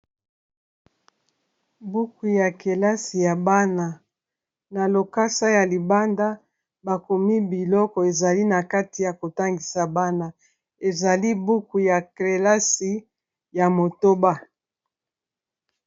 Buku ya kelasi ya bana na lokasa ya libanda bakomi biloko ezali na kati ya kotangisa bana ezali buku ya kelasi ya motoba.